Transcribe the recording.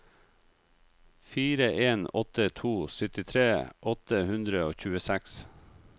fire en åtte to syttitre åtte hundre og tjueseks